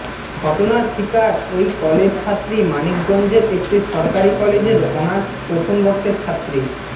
ঘটনার শিকার ওই কলেজ ছাত্রী মানিকগঞ্জের একটি সরকারি কলেজের অনার্স প্রথম বর্ষের ছাত্রী